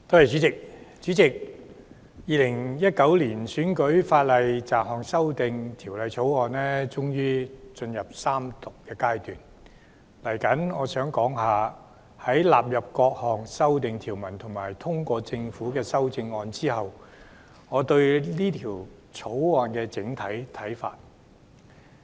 主席，《2019年選舉法例條例草案》終於進入三讀階段，接下來我想談談在納入各項修訂條文及通過政府的修正案後，我對《條例草案》的整體看法。